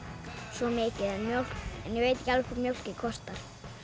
svo mikið en ég veit ekki alveg hvað mjólkin kostar